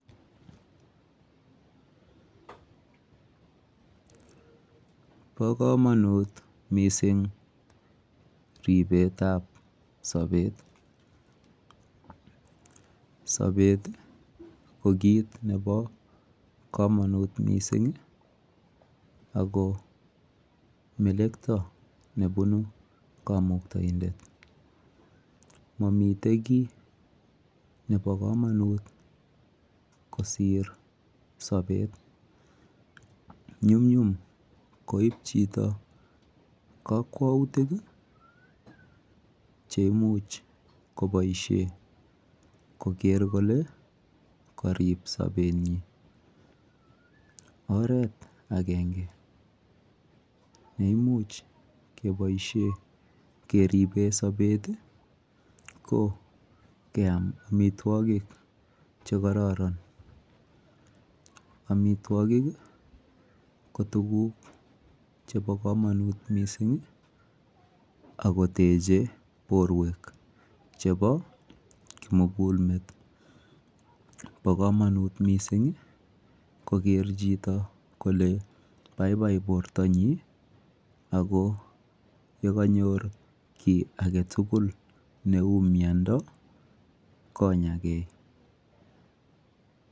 bo komonuut mising ribeet ab sobeet, sapet iih ko kiit nebo komonut mising ago melekto nebunu komuktoindet, momiten kiit nebo komonuut kosiir sobeet nyumnyum koiib chito kokwoutiik cheimuch koboishen kogeer kole koriib sobenyiin, oreet agenge neimuch keboishen keriben sobet ko keyaam omitwogik chegororon, omitwogik ko tuguuk chebo komonuut mising ak koteche borweek chebo kimuguul meet, bo komonuut mising kogeer chito kole baibai borto nyiin ago yeganyoor kii agetugul neuu myondo konyagee.